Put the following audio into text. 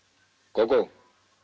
Gógó